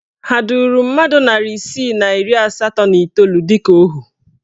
Ha duru mmadụ narị isii na iri asatọ na iteolu dịka ohu?